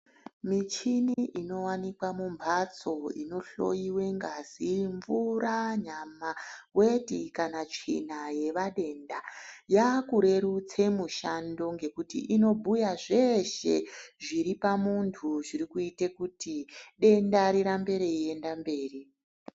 Michini inowanikwa mumphatso inohloiwe ngazi, mvura, nyama, weti kana tsvina yevadenda yaakurerutse mushando, ngekuti inobhuya zveshe zviri pamuntu zviri kuite kuti, denda rirambe reienda mberi.